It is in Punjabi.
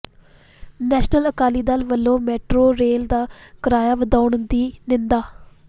ਨੈਸ਼ਨਲ ਅਕਾਲੀ ਦਲ ਵਲੋਂ ਮੈਟਰੋ ਰੇਲ ਦਾ ਕਿਰਾਇਆ ਵਧਾਉਣ ਦੀ ਨਿੰਦਾ